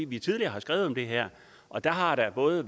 vi tidligere har skrevet om det her og der har været noget